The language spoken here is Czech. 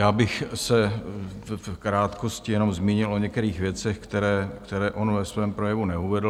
Já bych se v krátkosti jenom zmínil o některých věcech, které on ve svém projevu neuvedl.